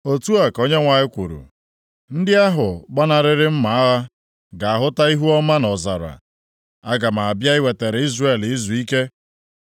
Otu a ka Onyenwe anyị kwuru, “Ndị ahụ gbanarịrị mma agha ga-ahụta ihuọma nʼọzara. Aga m abịa iwetara Izrel izuike.”